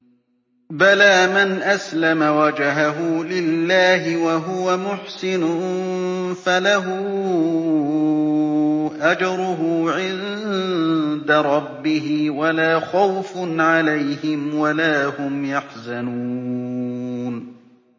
بَلَىٰ مَنْ أَسْلَمَ وَجْهَهُ لِلَّهِ وَهُوَ مُحْسِنٌ فَلَهُ أَجْرُهُ عِندَ رَبِّهِ وَلَا خَوْفٌ عَلَيْهِمْ وَلَا هُمْ يَحْزَنُونَ